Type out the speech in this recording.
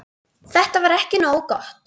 Þetta var ekki nógu gott.